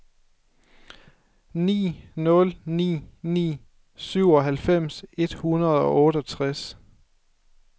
ni nul ni ni syvoghalvfems et hundrede og otteogtres